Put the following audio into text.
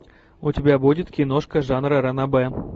у тебя будет киношка жанра ранобэ